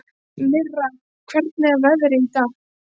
Mirra, hvernig er veðrið í dag?